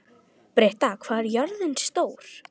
Britta, hvað er jörðin stór?